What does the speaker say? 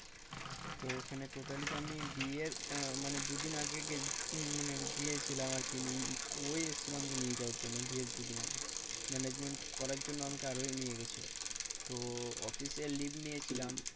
তো ওখানে totally আমি বিয়ের আহ দু দিন আগে মানে গিয়েছিলাম আর কি ও এসছিল আমাকে নিয়ে যাওয়ার জন্য বিয়ের দুদিন আগে। management করার জন্য আমাকে আরোই নিয়ে গিয়েছিলো? তো office এ leave নিয়েছিলাম।